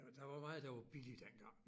Der der var meget der var billigt dengang